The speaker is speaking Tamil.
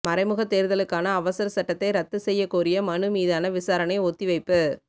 மறைமுகத் தோ்தலுக்கான அவசர சட்டத்தை ரத்து செய்யக் கோரிய மனு மீதான விசாரணை ஒத்திவைப்பு